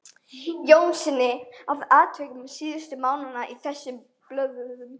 Jónssyni, og atvikum síðustu mánaða á þessum blöðum.